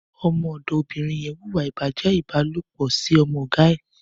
Ọmọ ọdọ óbirìn yèn wúwà ibàjẹ̀ ibàlópọ̀ si ọmọ ọ̀gá ẹ̀